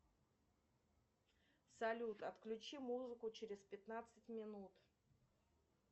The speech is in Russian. салют отключи музыку через пятнадцать минут